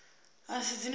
a si dzine dza tea